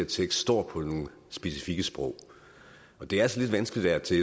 tekst står på nogle specifikke sprog det er altså lidt vanskeligt af og til